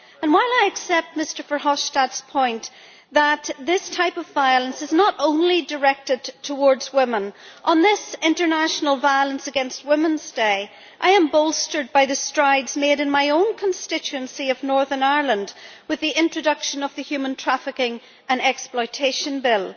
While I accept Mr Verhofstadt's point that this type of violence is not only directed towards women, on this, the International Day for the Elimination of Violence against Women, I am bolstered by the strides made in my own constituency of Northern Ireland with the introduction of the Human Trafficking and Exploitation Bill.